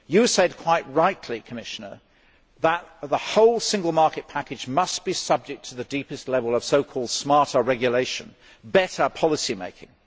You said quite rightly, Commissioner, that the whole single market package must be subject to the deepest level of so called smarter regulation better policy making.